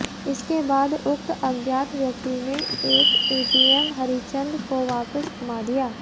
इसके बाद उक्त अज्ञात व्यक्ति ने एक एटीएम हरिंचद को वापिस थमा दिया